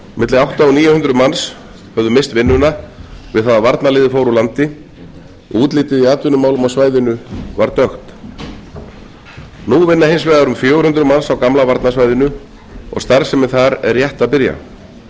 milli átta hundruð og níu hundruð manns höfðu misst vinnuna við það að varnarliðið fór úr landi og útlitið í atvinnumálum á svæðinu var dökkt nú vinna hins vegar um fjögur hundruð manns á gamla varnarsvæðinu og starfsemin þar er rétt að byrja